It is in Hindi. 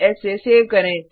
Ctrl एस से सेव करें